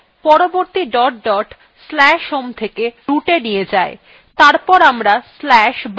পরবর্তী dot dot আমাদের/home থেকে rootএ নিয়ে যায়